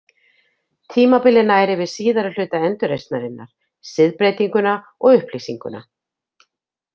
Tímabilið nær yfir síðari hluta endurreisnarinnar, siðbreytinguna og upplýsinguna.